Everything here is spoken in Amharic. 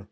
ነው።